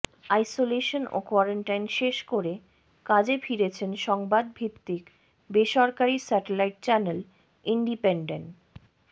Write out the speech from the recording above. isolation ও quarantine শেষ করে কাজে ফিরেছেন সংবাদ ভিত্তিক বেসরকারি স্যাটেলাইট চ্যানেল ইনডিপেনডেন